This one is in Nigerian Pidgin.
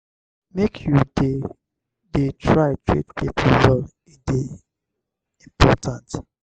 make you dey dey try treat pipo well e dey important.